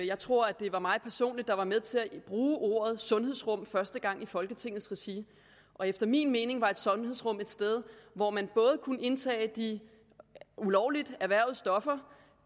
jeg tror at det var mig personligt der var med til at bruge ordet sundhedsrum første gang i folketingets regi efter min mening er et sundhedsrum et sted hvor man både kan indtage de ulovligt erhvervede stoffer